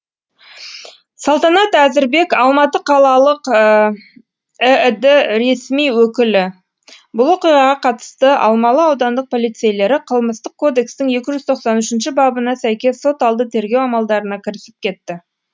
салтанат әзірбек алматы қалалық іід ресми өкілі бұл оқиғаға қатысты алмалы аудандық полицейлері қылмыстық кодекстің екі жүз тоқсан үшінші бабына сәйкес сот алды тергеу амалдарына кірісіп кетті